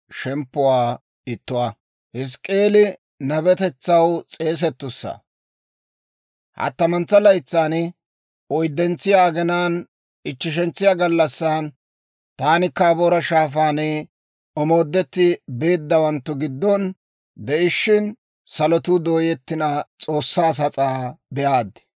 Hattamantsa laytsan, Oyddentsiyaa aginaan, ichcheshentsiyaa gallassan, taani Kabaara Shaafaan omoodetti beeddawanttu giddon de'ishshin, salotuu dooyettina, S'oossaa sas'aa be'aad.